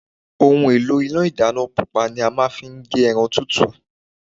Ohùn elo Ilé ìdáná pupa ni a máa n fi gé eran tútù